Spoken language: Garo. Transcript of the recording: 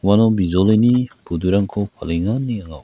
uano bijolini budurangko palenga ine anga ui--